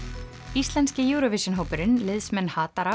íslenski Eurovision hópurinn liðsmenn